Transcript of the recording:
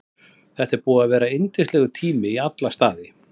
Þetta er búið að vera yndislegur tími í alla staði.